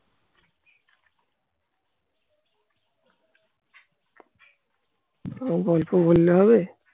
অল্প বন্যা হবে?